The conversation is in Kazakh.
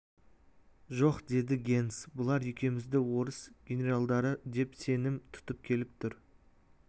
жоқ деді генс бұлар екеумізді орыс генералдары деп сенім тұтып келіп тұр